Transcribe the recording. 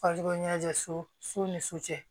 Faso ɲɛnajɛ so so ni su cɛ